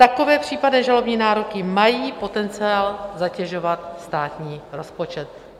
Takové případné žalobní nároky mají potenciál zatěžovat státní rozpočet.